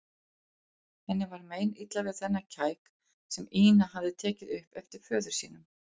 Henni var meinilla við þennan kæk sem Ína hafði tekið upp eftir föður sínum.